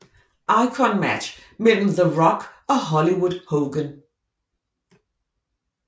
Icon Match mellem The Rock og Hollywood Hogan